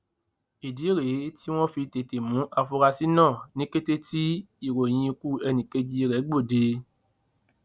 ìdí rèé tí wọn fi tètè mú àfúrásì náà ní kété tí ìròyìn ikú ẹnìkejì rẹ gbòde